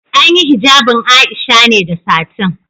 An yi hijabin Aisha ne da satin.